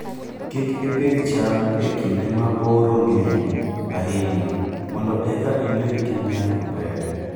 Kik iPidho cham e kinde ma oro ng'eny ahinya mondo eka ibed gi nyak maber